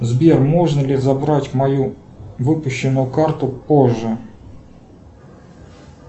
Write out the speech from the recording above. сбер можно ли забрать мою выпущенную карту позже